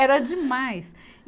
Era demais.